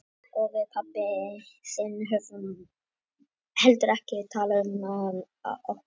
Og við pabbi þinn höfum heldur ekki talað um það okkar á milli.